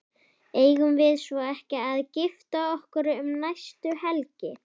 Eigum við svo ekki að gifta okkur um næstu helgi?